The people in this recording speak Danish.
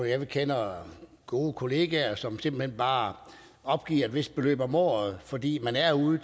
jeg kender gode kollegaer som simpelt hen bare opgiver et vist beløb om året fordi man er ude